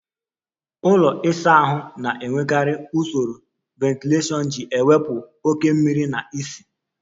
Ụlọ ịsa ahụ na-enwekarị usoro ventilashion iji wepụ oke mmiri na ísì.